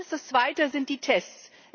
Das Zweite sind die Tests.